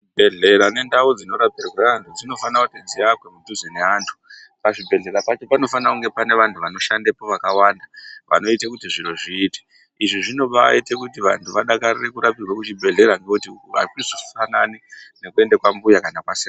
Zvibhedhlera nendau dzinorapirwa antu dzinofanira kuti dziakwe kudhuze neantu pazvibhedhlera pacho panofanira kunga pane antu anoshandapo akawanda vanoita kuti zviro zviite izvi zvinobaita kuti vantu vadakarire kurapirwe kuzvibhedhlera ngekuti hazvizofanani nekuenda kwambuya kana kwasekuru.